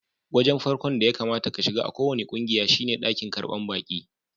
Wajen farkon da ya kamata ka shiga a kowani kungiya shine dakin karban baki.